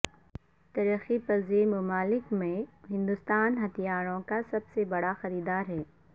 ترقی پزیر ممالک میں ہندوستان ہتھیاروں کا سب سے بڑا خریدار ہے